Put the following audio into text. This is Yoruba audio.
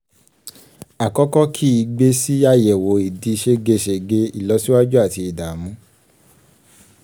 àkọ́kọ́ kì í gbé sí àyẹ̀wò ìdí ségesège ìlọsíwájú àti ìdààmú.